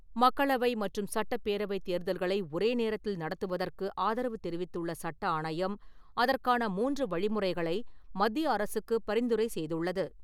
மக்களவை மற்றும் சட்டப்பேரவை தேர்தல்களை ஒரே நேரத்தில் நடத்துவதற்கு ஆதரவு தெரிவித்துள்ள சட்ட ஆணையம் அதற்கான மூன்று வழிமுறைகளை மத்திய அரசுக்கு பரிந்துரை செய்துள்ளது.